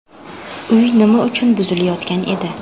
Uy nima uchun buzilayotgan edi?.